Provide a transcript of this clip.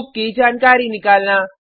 book की जानकारी निकालना